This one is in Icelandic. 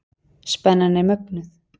Spennan er mögnuð.